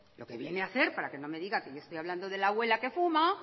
lo que viene a hacer para que no me diga que le estoy hablando de la abuela que fuma